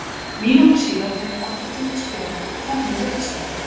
Mínútu síðar fékk hann aftur gult spjald og þar með rautt spjald.